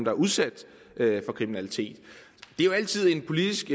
er udsat for kriminalitet det er jo altid en politisk